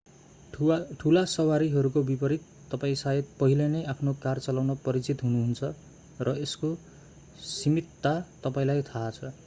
ठूला सवारीहरूको विपरित तपाईं शायद पहिले नै आफ्नो कार चलाउन परिचित हुनुहुन्छ र यसको सीमितता तपाईंलाई थाहा छ